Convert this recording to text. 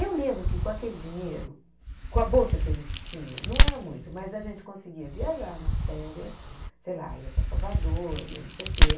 Eu lembro que com aquele dinheiro, com a bolsa que a gente tinha, não era muito, mas a gente conseguia viajar nas férias, sei lá, ia para Salvador, ia não sei o quê.